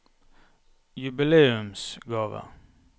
jubileumsgave